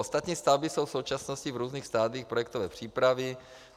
Ostatní stavby jsou v současnosti v různých stadiích projektové přípravy.